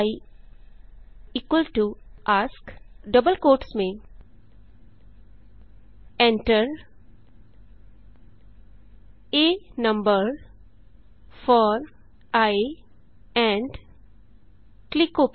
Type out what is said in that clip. i A S K double quotes में enter आ number four I and click okay